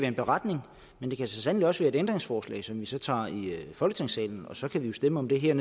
en beretning men det kan så sandelig også være et ændringsforslag som vi tager i folketingssalen og så kan vi stemme om det her